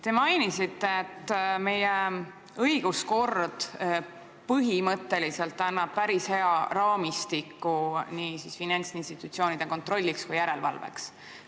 Te mainisite, et meie õiguskord annab põhimõtteliselt päris hea raamistiku nii finantsinstitutsioonide kontrolliks kui ka järelevalveks.